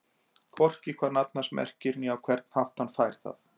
Hvorki hvað nafn hans merkir né á hvern hátt hann fær það.